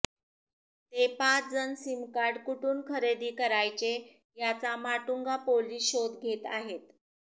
ते पाच जण सीम कार्ड कुठून खरेदी करायचे याचा माटुंगा पोलीस शोध घेत आहेत